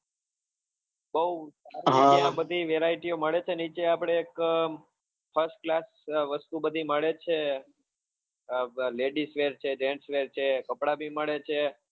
બહુ ત્યાં બધી veraity મળે છે નીચે આપડે એક first class વસ્તુ બધી મળે છે ladies wear છે jenes wear છે કપડા બી મળે છે.